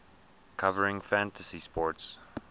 covering fantasy sports